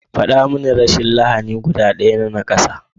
Faɗa mani rashin lahani guda ɗaya na nakasa?